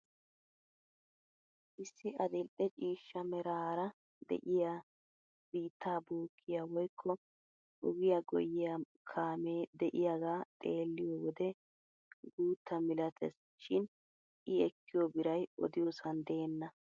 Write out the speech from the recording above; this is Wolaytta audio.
Issi adil'e ciishshameraara de'iyaa biittaa bookkiyaa woykko ogiyaa giyiyaa kaamee de'iyaagaa xeelliyoo wode guutta milates shin i ekkiyoo biray odiyoosan deenna!